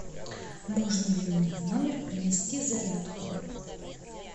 можно ли мне в номер принести зарядку